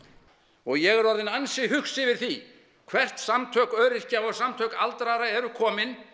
og ég er orðinn ansi hugsi yfir því hvert samtök öryrkja og samtök aldraðra eru komin